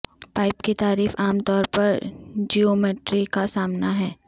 pipe کی تعریف عام طور پر جیومیٹرری کا سامنا ہے